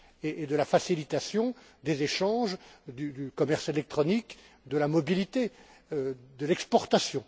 et de la facilitation des échanges, du commerce électronique, de la mobilité, de l'exportation.